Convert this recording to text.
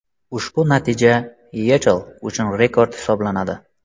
Ushbu natija YeChL uchun rekord hisoblanadi.